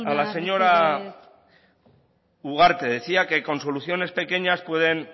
isiltasuna mesedez la señora ugarte decía que con soluciones pequeñas pueden